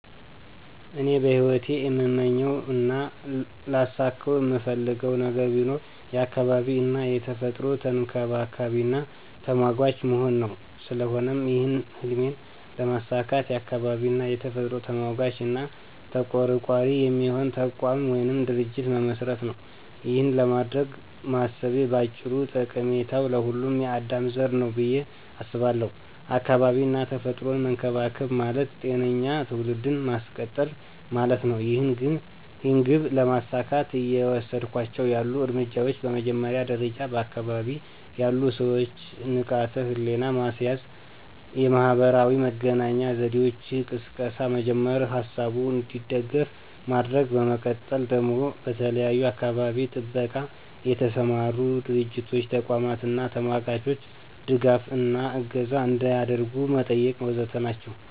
እኔ በሂወቴ እምመኘው እና ላሳከው እምፈልገው ነገር ቢኖር የአካባቢ እና የተፈጥሮ ተንከባካቢና ተሟጋች መሆን ነው። ስለሆነም ይህን ህልሜን ለማሳካት የአካባቢ እና የተፈጥሮ ተሟጋች እና ተቆርቋሪ የሚሆን ተቋም ወይም ድርጅት መመስረት ነው። ይኸን ለማድረግ ማሰቤ ባጭሩ ጠቀሜታው ለሁሉም የአዳም ዘር ነው ብየ አስባለው። አካባቢ እና ተፈጥሮን መንከባከብ ማለት ጤነኛ ትውልድን ማስቀጠል ማለት ነው። ይህን ግብ ለማሳካት እየወሰድኳቸው ያሉ እርምጃዎች በመጀመሪያ ደረጃ በአካባቢ ያሉ ሰወችን ንቃተ ህሊና ማስያዝ፣ የማህበራዊ መገናኛ ዘዴወች ቅስቀሳ መጀመር፥ ሀሳቡ እንዲደግፍ ማድረግ፤ በመቀጠል ደግሞ በተለያዩ በአካባቢ ጥበቃ የተሰማሩ ድርቶች፥ ተቋማት አና ተሟጋቾች ድጋፍ እና እገዛ አንዲያደርጉ መጠየቅ ወዘተ ናቸው።